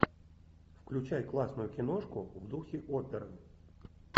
включай классную киношку в духе оперн